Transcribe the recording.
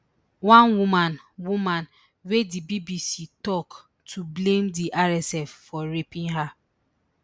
one woman woman wey di bbc tok to blame di rsf for raping her